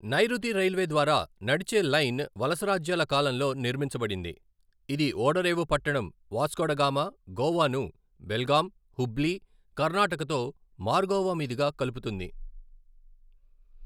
నైరుతి రైల్వే ద్వారా నడిచే లైన్ వలసరాజ్యాల కాలంలో నిర్మించబడింది, ఇది ఓడరేవు పట్టణం వాస్కోడగామా, గోవాను బెల్గాం, హుబ్లీ, కర్నాటకతో మార్గోవా మీదుగా కలుపుతుంది.